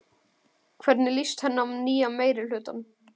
Hvernig líst henni á nýja meirihlutann?